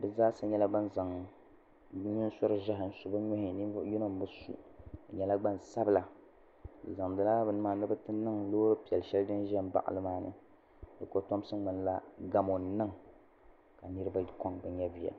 bi zaa sa nyɛla ban zaŋ bi nusuri zi hi n su bi nuhi ni ni vuɣu yino n bi su bi nyɛla gbansabila bi zaŋdi bini maa ni bi ti niŋ loori piɛlli shɛli din za n baɣi li maa ni di kotomsi ŋmanila gamo n niŋ ka niriba kɔŋ bi nyɛviya